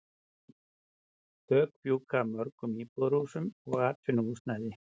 Þök fjúka af mörgum íbúðarhúsum og atvinnuhúsnæði.